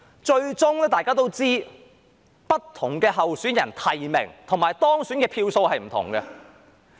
最終大家都知道，不同候選人提名與當選的票數是不同的。